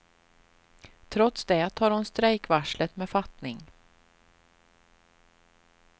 Trots det tar hon strejkvarslet med fattning.